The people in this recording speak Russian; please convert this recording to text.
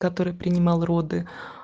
который принимал роды